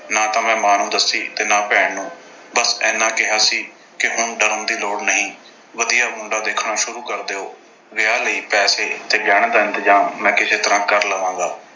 ਨਾ ਤਾਂ ਮੈਂ ਮਾਂ ਨੂੰ ਦੱਸੀ ਤੇ ਨਾ ਭੈਣ ਨੂੰ। ਬੱਸ ਇੰਨਾ ਕਿਹਾ ਸੀ ਕਿ ਹੁਣ ਡਰਨ ਦੀ ਲੋੜ ਨਹੀਂ। ਵਧੀਆ ਮੁੰਡਾ ਦੇਖਣਾ ਸ਼ੁਰੂ ਕਰ ਦਿਉ। ਵਿਆਹ ਲਈ ਪੈਸੇ ਤੇ ਗਹਿਣੇ ਦਾ ਇੰਤਜ਼ਾਮ ਮੈਂ ਕਿਸੇ ਤਰ੍ਹਾਂ ਕਰ ਲਵਾਂਗਾ।